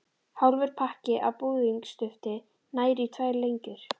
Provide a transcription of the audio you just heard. Hálfur pakki af búðingsdufti nægir í tvær lengjur.